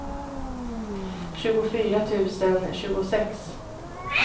tjugofyra tusen tjugosex